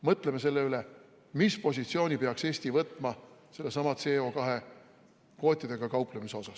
Mõtleme selle üle, mis positsiooni peaks Eesti võtma sellesama CO2 kvootidega kauplemise kohta.